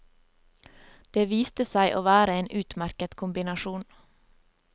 Det viste seg å være en utmerket kombinasjon.